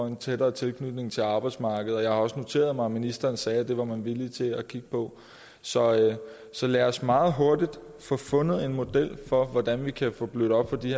en tættere tilknytning til arbejdsmarkedet og jeg har også noteret mig at ministeren sagde at det var man villig til at kigge på så så lad os meget hurtigt få fundet en model for hvordan vi kan få blødt op for de